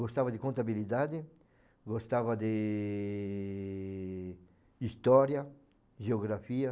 Gostava de contabilidade, gostava de... de história, geografia.